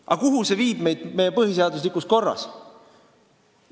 Aga kuhu see viib meid meie põhiseadusliku korra juures?